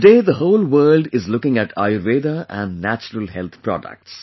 Today the whole world is looking at Ayurveda and Natural Health Products